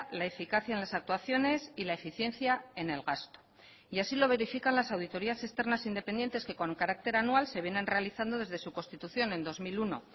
la eficacia en las actuaciones y la eficiencia en el gasto y así lo verifican las auditorías externas independientes que con carácter anual se vienen realizando desde su constitución en dos mil uno